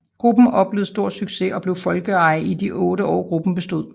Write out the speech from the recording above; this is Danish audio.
Gruppen oplevede stor succes og blev folkeeje i de 8 år gruppen bestod